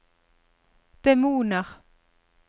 demoner